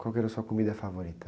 Qual que era a sua comida favorita?